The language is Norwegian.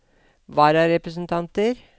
vararepresentanter